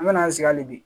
An bɛna an sigi hali bi